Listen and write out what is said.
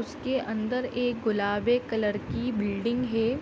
उसके अंदर एक गुलाबे कलर की बिल्डिंग है।